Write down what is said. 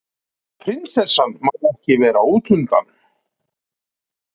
Prinsessan má ekki vera útundan